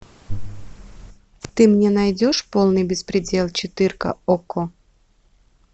ты мне найдешь полный беспредел четырка окко